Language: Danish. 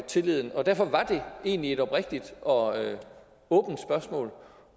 tilliden og derfor var det egentlig et oprigtigt og åbent spørgsmål